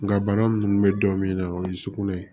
Nga bana munnu be dɔn min na o ye sugunɛ ye